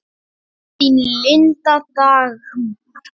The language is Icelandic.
Þín, Linda Dagmar.